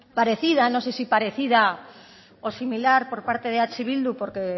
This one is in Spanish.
parecida no sé si parecida o similar por parte de eh bildu porque